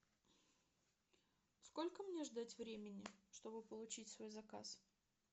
сколько мне ждать времени чтобы получить свой заказ